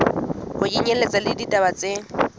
ho kenyelletswa le ditaba tse